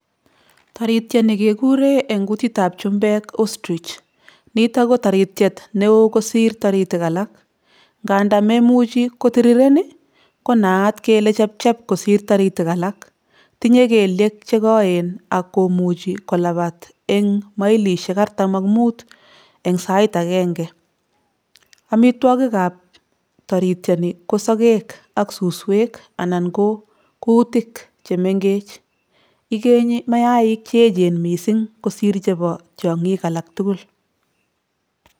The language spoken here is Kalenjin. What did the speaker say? Taritiani kekure eng kutitab chumbek Ostrich, nitok ko taritiet ne oo kosir taritik alak, nganda memuchi kotiriren ii konaat kele chepchep kosir taritik alak, tinye keliek che koen ak komuchi kolapat eng mailisiek artam ak mut eng sait akenge. Amitwogikab taritiani ko sokek ak suswek anan ko kuutik che mengech, ikenyi mayaik che echen mising kosir chebo tiongik alak tugul.